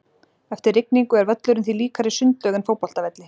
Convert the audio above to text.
Eftir rigningu er völlurinn því líkari sundlaug en fótboltavelli.